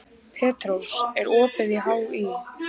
Petrós, er opið í HÍ?